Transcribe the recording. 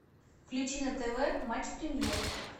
включи на тв матч премьер